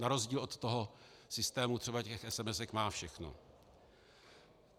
Na rozdíl od toho systému třeba těch SMS má všechno.